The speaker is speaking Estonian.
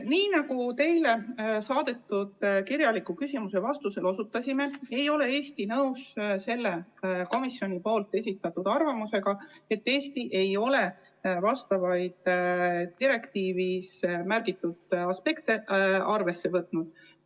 Nii nagu teile saadetud kirjalikus vastuses osutasime, ei ole Eesti nõus komisjoni esitatud arvamusega, et me ei ole direktiivis märgitud aspekte arvesse võtnud.